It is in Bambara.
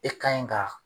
E ka ɲi ka